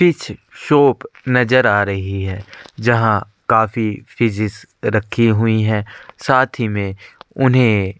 fees shop नजर आ रही है जहाँ काफी फिशेस रखी हुई है साथ ही में उन्हें --